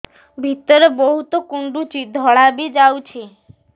ଭିତରେ ବହୁତ କୁଣ୍ଡୁଚି ଧଳା ବି ଯାଉଛି